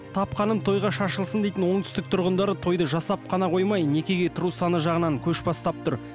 тапқаным тойға шашылсын дейтін оңтүстік тұрғындары тойды жасап қана қоймай некеге тұру саны жағынан көш бастап тұр